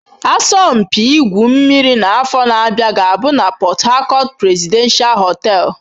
Asọmpi igwu mmiri n'afọ na-abịa ga-abụ na Port Harcourt Presidential hotel.